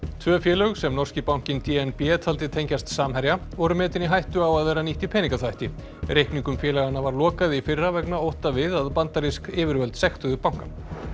tvö félög sem norski bankinn d n b taldi tengjast Samherja voru metin í hættu á að vera nýtt í peningaþvætti reikningum félaganna var lokað í fyrra vegna ótta við að bandarísk yfirvöld sektuðu bankann